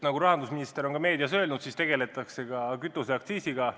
Nagu rahandusminister on meedias öelnud, tegeletakse ka kütuseaktsiisiga.